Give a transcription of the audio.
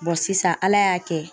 sisan ALA y'a kɛ